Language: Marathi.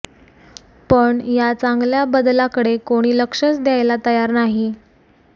पण या चांगल्या बदलाकडे कोणी लक्षच द्यायला तयार नाही